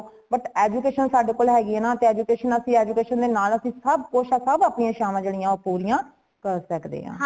but education ਸਾਡੇ ਕੋਲ ਹੇਗੀ ਏ ਨਾ , education ਅਸੀਂ education ਦੇ ਨਾਲ ਅਸੀਂ ਸਬ ਕੁਛ ਸਬ ਅਪਣੀ ਇਛਾਵਾਂ ਜੇੜੀਆਂ ਉਹ ਪੂਰੀਆਂ ਕਰ ਸੱਕਦੇ ਹਾਂ